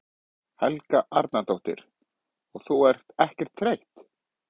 Helga Arnardóttir: Og ert þú ekkert þreytt?